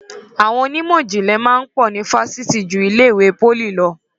Àwọn onímọ̀jìnlẹ̀ máa ń pọ̀ ni Fásitì ju ilé ìwé pólì lọ